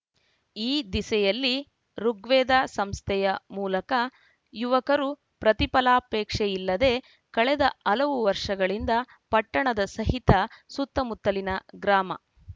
ಈ ದಿಸೆಯಲ್ಲಿ ಋುಗ್ವೇದ ಸಂಸ್ಥೆಯ ಮೂಲಕ ಯುವಕರು ಪ್ರತಿಫಲಾಪೇಕ್ಷೆಯಿಲ್ಲದೆ ಕಳೆದ ಹಲವು ವರ್ಷಗಳಿಂದ ಪಟ್ಟಣದ ಸಹಿತ ಸುತ್ತಮುತ್ತಲಿನ ಗ್ರಾಮ